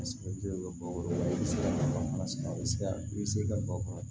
i bɛ se ka bara i bɛ se ka bakuru